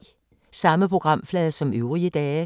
Samme programflade som øvrige dage